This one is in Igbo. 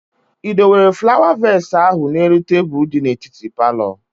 Ị dowere flawa vees ahụ n'elu tebụl di n'etiti palọ?